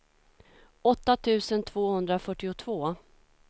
åtta tusen tvåhundrafyrtiotvå